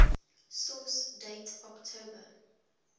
source date october